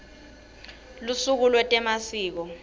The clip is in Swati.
lusuku lwetemasiko